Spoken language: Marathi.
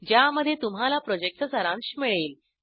ज्यामध्ये तुम्हाला प्रॉजेक्टचा सारांश मिळेल